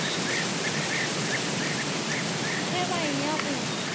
ge ba e ya go